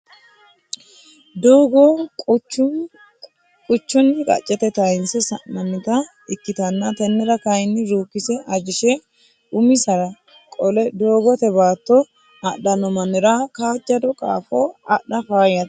Doogo qachuni qacha taynse sa'nannitta ikkittanna tenera kayi rukkise ajishe umisira qole doogote baatto adhano mannira kaajado qaafo adha faayyate.